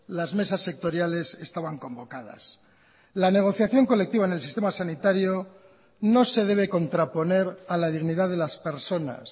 las mesas sectoriales estaban convocadas la negociación colectiva en el sistema sanitario no se debe contraponer a la dignidad de las personas